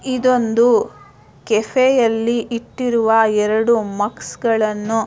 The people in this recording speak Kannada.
ಇದೊಂದು ಕೆಫೆಯಲ್ಲಿ ಇಟ್ಟಿರುವ ಒಂದು ಮಗ್ಸ್ ಗಳನ್ನೂ--